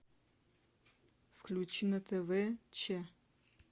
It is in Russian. включи на тв че